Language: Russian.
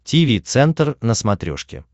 тиви центр на смотрешке